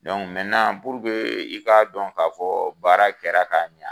i ka dɔn ka fɔ baara kɛra ka ɲa